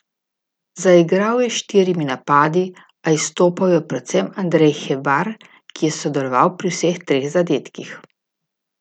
Zaigral je s štirimi napadi, a izstopal je predvsem Andrej Hebar, ki je sodeloval pri vseh treh zadetkih.